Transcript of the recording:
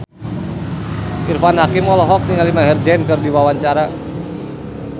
Irfan Hakim olohok ningali Maher Zein keur diwawancara